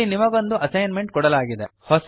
ಇಲ್ಲಿ ನಿಮಗೊಂದು assignment ಕೊಡಲಾಗಿದೆ